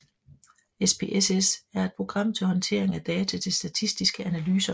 SPSS er et program til håndtering af data til statistiske analyser